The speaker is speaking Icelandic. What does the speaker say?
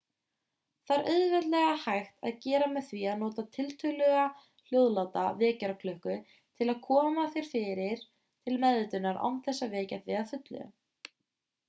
það er auðveldlega hægt að gera með því að nota tiltölulega hljóðláta vekjaraklukku til að koma þér til meðvitundar án þess að vekja þig að fullu